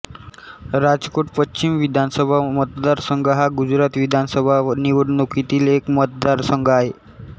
राजकोट पश्चिम विधानसभा मतदारसंघ हा गुजरात विधानसभा निवडणुकीतील एक मतदारसंघ आहे